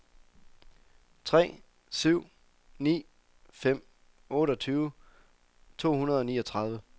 tre syv ni fem otteogtyve to hundrede og niogtredive